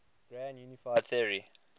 grand unified theory